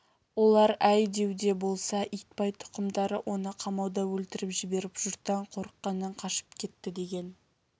олар әй дәуде болса итбай тұқымдары оны қамауда өлтіріп жіберіп жұрттан қорыққаннан қашып кетті деген